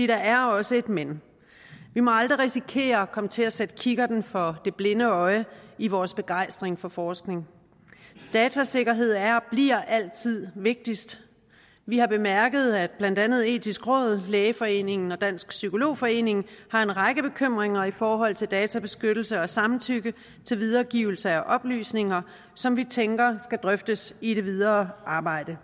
der er også et men vi må aldrig risikere at komme til at sætte kikkerten for det blinde øje i vores begejstring for forskning datasikkerhed er og bliver altid vigtigst vi har bemærket at blandt andet det etiske råd lægeforeningen og dansk psykolog forening har en række bekymringer i forhold til databeskyttelse og samtykke til videregivelse af oplysninger som vi tænker skal drøftes i det videre arbejde